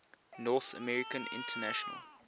north american international